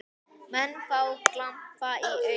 Menn fá glampa í augun.